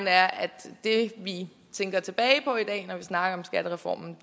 er at det vi tænker tilbage på i dag når vi snakker om skattereformen